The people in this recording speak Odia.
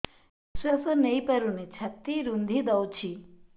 ନିଶ୍ୱାସ ନେଇପାରୁନି ଛାତି ରୁନ୍ଧି ଦଉଛି